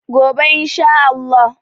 gobe in Sha Allah